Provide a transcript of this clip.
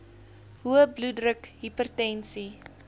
hoë bloeddruk hipertensie